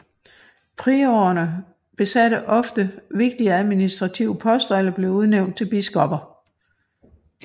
Priorerne besatte ofte vigtige administrative poster eller blev udnævnt til biskopper